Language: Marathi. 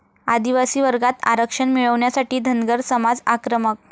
आदिवासी वर्गात आरक्षण मिळवण्यासाठी धनगर समाज आक्रमक